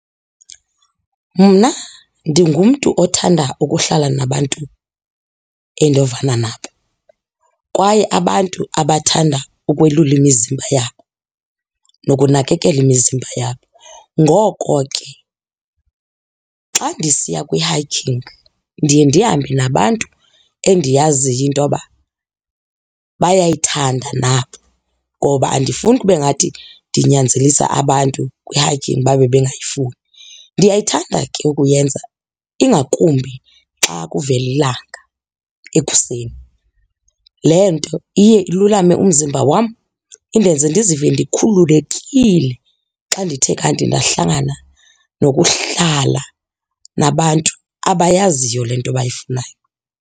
Mna ndingumntu othanda ukuhlala nabantu endovana nabo kwaye abantu abathanda ukwelula imizimba yabo nokunakekela imizimba yabo. Ngoko ke xa ndisiya kwi-hiking ndiye ndihambe nabantu endiyaziyo intoba bayayithanda nabo ngoba andifuni kube ngathi ndinyanzelisa abantu kwi-hiking babe bengayifuni. Ndiyayithanda ke ukuyenza ingakumbi xa kuvela ilanga ekuseni. Le nto iye alulame umzimba wam indenze ndizive ndikhululekile xa ndithe kanti ndahlangana nokuhlala nabantu abayaziyo le nto bayifunayo.